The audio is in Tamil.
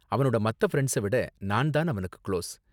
அவனோட மத்த ஃபிரண்ட்ஸ விட நான் தான் அவனுக்கு க்ளோஸ்.